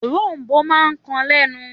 Òrom̀bó máa ń kan lẹ́nu.